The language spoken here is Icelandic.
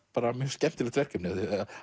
mjög skemmtilegt verkefni að